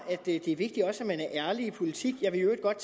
det er vigtigt man er ærlig også i politik jeg vil i øvrigt godt